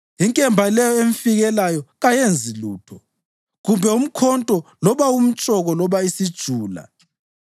Inkemba leyo emfikelayo kayenzi lutho, kumbe umkhonto, loba umtshoko loba isijula.